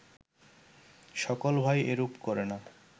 সকল ভাই এরূপ করে না